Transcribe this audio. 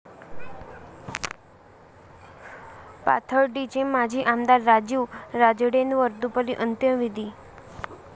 पाथर्डीचे माजी आमदार राजीव राजळेंवर दुपारी अंत्यविधी